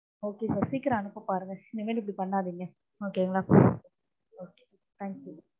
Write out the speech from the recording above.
Okay sir சிக்கிரம் அனுப்ப பாருங்க இனிமே இப்டி பண்ணாதீங்க okay ங்கலா okay thank you